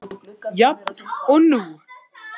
Jafn og nú.